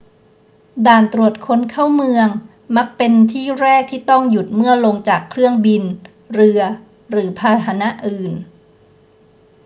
ด่านตรวจคนเข้าเมืองมักเป็นที่แรกที่ต้องหยุดเมื่อลงจากเครื่องบิน เรือ หรือพาหนะอื่น